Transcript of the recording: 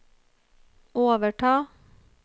overta